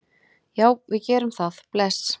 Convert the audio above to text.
Já, við gerum það. Bless.